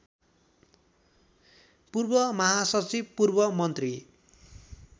पूर्व महासचिव पूर्वमन्त्री